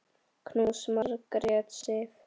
Knús, Margrét Sif.